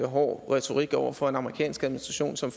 hård retorik over for en amerikansk administration som